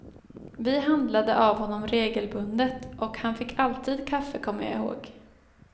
Vi handlade av honom regelbundet och han fick alltid kaffe kommer jag ihåg.